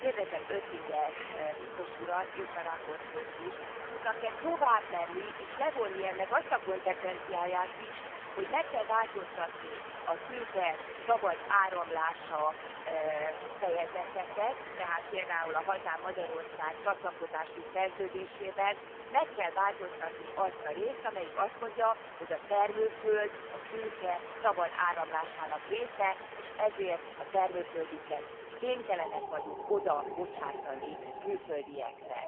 Kérdezem Oettinger biztos urat és a raportőrt is, tudnak e tovább menni, és levonni ennek azt a konzekvenciáját is, hogy meg kell változtatni a tőke szabad áramlásáról szóló fejezeteket, tehát például a hazám, Magyarország csatlakozási szerződésében meg kell változtatni azt a részt, amelyik azt mondja, hogy a termőföld a tőke szabad áramlásának része, és ezért a termőföldünket kénytelenek vagyunk odabocsátani külföldieknek.